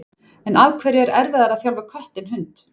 En af hverju er erfiðara að þjálfa kött en hund?